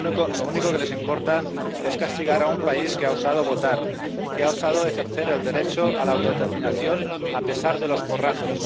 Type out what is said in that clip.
Lo único que les importa es castigar a un país que ha osado votar, que ha osado ejercer el derecho a la autodeterminación a pesar de los porrazos.